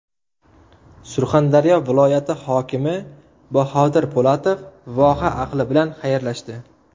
Surxondaryo viloyati hokimi Bahodir Po‘latov voha ahli bilan xayrlashdi.